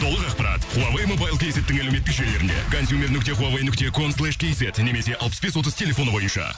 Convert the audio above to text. толық ақпарат хуавей мобайл кейзеттің әлеуметтік жүйелерінде контюмер нүкте хуавей нүкте конслейш кейзет немесе алпыс бес отыз телефоны бойынша